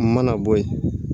A mana bɔ yen